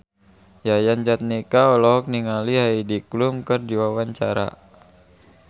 Yayan Jatnika olohok ningali Heidi Klum keur diwawancara